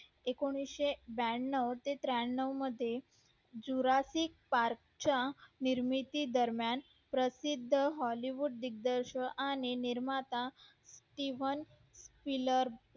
एकोणीशे ब्यानव ते त्र्यानव मध्ये झुरसिक पार्क च्या निर्मिती दरम्यान प्रसिद्ध hollywood दिग्दर्शन आणि निर्माता